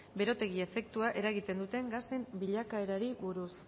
berotegi efektua eragiten duten gasen bilakaerari buruz